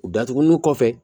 U datugulenw kɔfɛ